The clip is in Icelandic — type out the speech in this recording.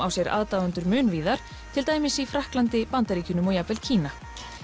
á sér aðdáendur mun víðar til dæmis í Frakklandi Bandaríkjunum og jafnvel Kína